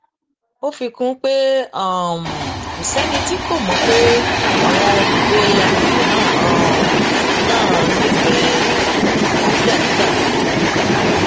ó fi kún un pé um kò sẹni tí kò mọ pé àwọn olùgbé àgbègbè um náà nífẹẹ àlàáfíà nígbà gbogbo